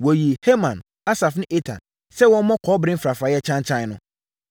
Wɔyii Heman, Asaf ne Etan sɛ wɔmmɔ kɔbere mfrafraeɛ kyankyan no.